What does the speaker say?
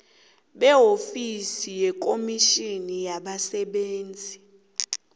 beofisi yekomitjhini yabasebenzi